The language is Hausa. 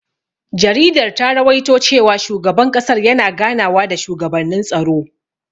Jaridar ta rawaito cewa shugaban ƙasar yana ganawa da shugabannin tsaro.